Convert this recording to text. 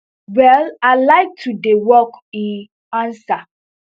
well i like to dey work e ansa